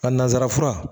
A nansara fura